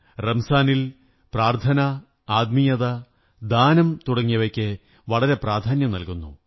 റംസാനിൽ പ്രാര്ഥലന ആത്മീയത ദാനം തുടങ്ങിയവയ്ക്ക് വളരെ പ്രാധാന്യം നല്കുന്നു